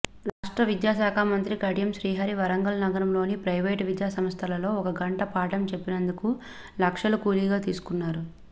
రాష్ట్ర విద్యాశాఖమంత్రి కడియం శ్రీహరి వరంగల్ నగరంలోని ప్రవేటు విద్యాసంస్థలలో ఒక గంట పాఠం చెప్పినందుకు లక్షలు కూలిగా తీసుకున్నారు